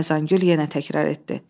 Xəzəngül yenə təkrar etdi.